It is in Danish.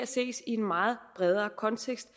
ses i en meget bredere kontekst